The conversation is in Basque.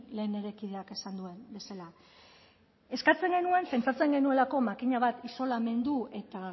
lehen nire kideak esan duen bezala eskatzen genuen zentratzen genuelako makina bat isolamendu eta